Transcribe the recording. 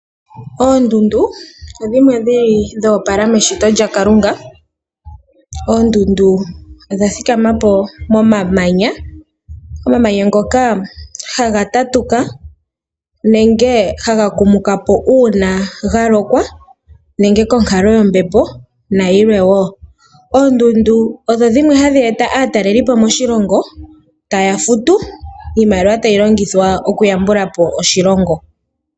Oondundu odhimwe dhili dho opala meshito lya Kalunga . Oondundu odha thikamapo momamanya, omamanya ngoka haga tatuka nenge haga kumukapo uuna ga lokwa nenge konkalo yombepo nayilwe woo . Oondundu osho dhimwe hadhi eta aatalelipo moshilongo ,taya futu iimaliwa tayi longithwa oku yambulapo oshilongo.